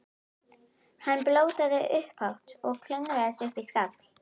Hann blótaði upphátt og klöngraðist upp í skafl.